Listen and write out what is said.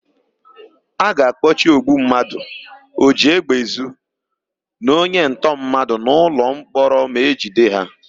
A ga-akpọchi ogbummadụ, ojiégbèezu na onyentọmmadụ n'ụlọmkpọrọ ma e jide ha.